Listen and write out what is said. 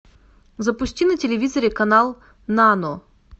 запусти на телевизоре канал нано